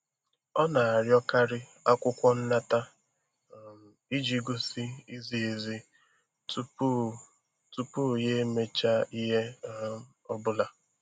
Ọ na-arịọkarị akwụkwọ nnata um iji gosi izi ezi um tupu tupu ya emecha ihe um ọ bụla.